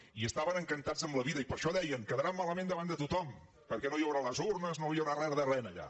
i estaven encantats amb la vida i per això deien quedaran malament davant de tothom perquè no hi haurà les urnes no hi haurà re de re allà